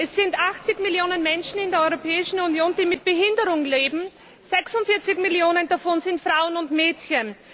Es sind 80 Millionen Menschen in der Europäischen Union, die mit Behinderung leben, 46 Millionen davon sind Frauen und Mädchen.